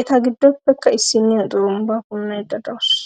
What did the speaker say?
Eta gidoppekka issiniya xurumbbaa punnaydda dawusu.